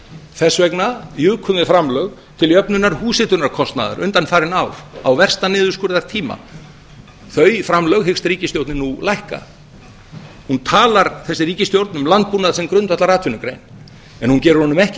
þess vegna jukum við framlög til jöfnunar húshitunarkostnaðar undanfarin ár á versta niðurskurðartíma þau framlög hyggst ríkisstjórnin nú lækka hún talar þessi ríkisstjórn um landbúnað sem grundvallaratvinnugrein en gerir honum ekki